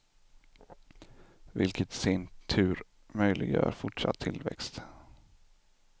Vilket i sin tur möjliggör fortsatt tillväxt.